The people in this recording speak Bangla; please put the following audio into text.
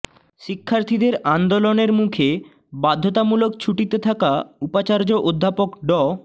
শিক্ষার্থীদের আন্দোলনের মুখে বাধ্যতামূলক ছুটিতে থাকা উপাচার্য অধ্যাপক ড